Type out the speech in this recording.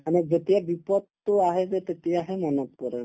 মানে যেতিয়া বিপদতো আহে যে তেতিয়াহে মনত পৰে